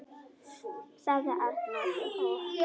., sagði Arnór.